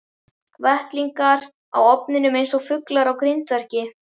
Vettlingar á ofninum eins og fuglar á grindverki.